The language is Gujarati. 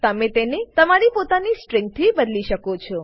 તમે તેને તમારી પોતાની સ્ટ્રીંગથી બદલી શ્લો છો